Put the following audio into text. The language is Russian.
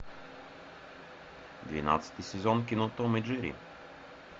двенадцатый сезон кино том и джерри